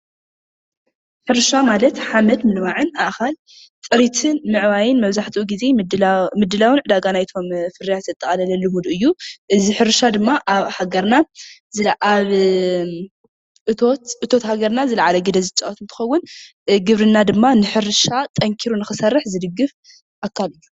ሕርሻ ማለት ሓመድ ምልማዕን ኣእኻል ፅሬትን ምዕባይን መብዛሕትኡ ጊዜ ምድላውን ዕዳጋ ናይቶም ፍርያት ዘጠቃለለሉ ዉን እዩ፡፡ እዚ ሕርሻ ድማ ኣብ ሃገርና ኣብ እቶት ሃገርና ዝላዓለ ግደ ዝፃወት እንትኸውን ግብርና ድማ ንሕርሻ ጠንኪሩ ንኽሰርሕ ዝድግፍ ኣካል እዩ፡፡